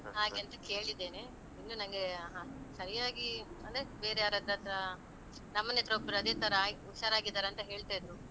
ಹಾಗೆಂತ ಕೇಳಿದ್ದೇನೆ. ಇನ್ನು ನನ್ಗೆ ಹ ಸರಿಯಾಗಿ ಅಂದ್ರೆ ಬೇರೆ ಯಾರಹತ್ರ ಅದ್ರ ನಮ್ಮ ಮನೆಹತ್ರ ಒಬ್ರು ಅದೇ ತರಾ ಆಗಿ ಹುಷಾರಾಗಿದ್ದಾರಂತ ಹೇಳ್ತಾ ಇದ್ರು.